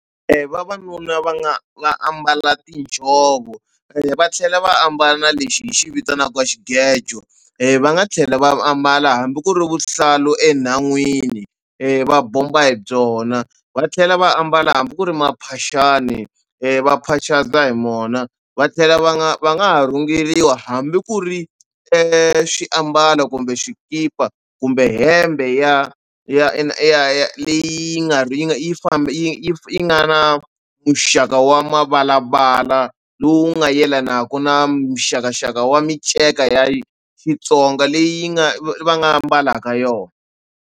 Vavanuna va nga va ambala tinjhovo va tlhela va ambala na lexi hi xi vitanaka xigejo va nga tlhela va ambala hambi ku ri vuhlalu enhan'wini va bomba hi byona va tlhela va ambala hambi ku ri maphaxani va phaxata hi mona va tlhela va nga va nga ha rhungeriwa hambi ku ri xiambalo kumbe xikipa kumbe hembe ya ya ya ya ya leyi nga yi nga yi yi famba yi yi nga na muxaka wa mavalavala lowu nga yelanaka na mixakaxaka wa minceka ya Xitsonga leyi yi nga va nga mbalaka yona.